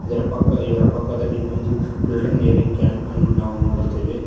ಇದರ ಪಕ್ಕ ಇವರ ಪಕ್ಕದಲ್ಲಿ ಒಂದು ಫಿಲ್ಟರ್ ನೀರಿನ್ ಕ್ಯಾನ್ ಅನ್ನು ನಾವು ನೋಡುತ್ತೇವೆ.